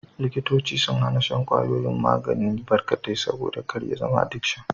Likitoci sun hana shan kwayoyin magani barkatai, saboda kar ya zama adikshin.